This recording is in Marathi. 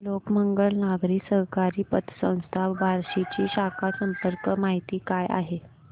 लोकमंगल नागरी सहकारी पतसंस्था बार्शी ची शाखा संपर्क माहिती काय आहे